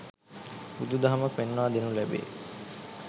බුදුදහම පෙන්වා දෙනු ලැබේ.